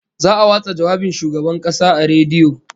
Za'a watsa jawabin Shugaban Kasa a rediyo